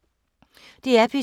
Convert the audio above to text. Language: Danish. DR P2